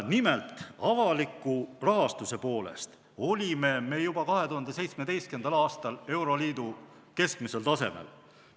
Nimelt, avaliku rahastuse poolest olime me juba 2017. aastal euroliidu keskmisel tasemel.